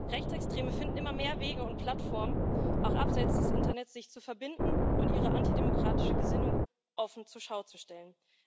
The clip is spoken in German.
Rechtsextreme finden immer mehr Wege und Plattformen, auch abseits des Internets, um sich zu verbinden und ihre antidemokratische Gesinnung offen zur Schau zu stellen.